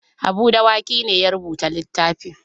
Habu Dawaki ne ya rubuta littafin.